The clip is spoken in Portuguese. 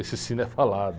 Esse cine é falado.